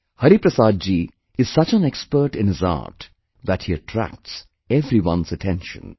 Hariprasad ji is such an expert in his art that he attracts everyone's attention